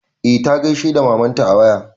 E ta gaisa da mamanta a waya.